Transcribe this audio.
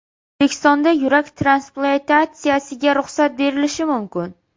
O‘zbekistonda yurak transplantatsiyasiga ruxsat berilishi mumkin.